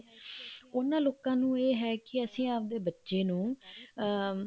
ਉਹਨਾ ਲੋਕਾਂ ਨੂੰ ਇਹ ਹੈ ਕੀ ਅਸੀਂ ਆਵਦੇ ਬੱਚੇ ਨੂੰ ਅਮ